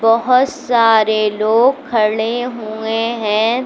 बहुत सारे लोग खड़े हुए हैं।